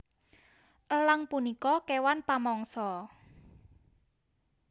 Elang punika kéwan pamangsa